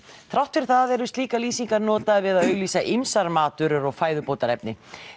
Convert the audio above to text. þrátt fyrir það eru slíkar lýsingar notaðar við að auglýsa ýmsar matvörur og fæðubótarefni